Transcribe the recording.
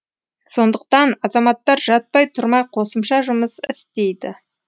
сондықтан азаматтар жатпай тұрмай қосымша жұмыс істейді